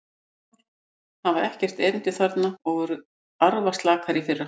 Sumar hafa ekkert erindi þarna og voru arfaslakar í fyrra.